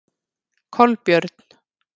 Kolbjörn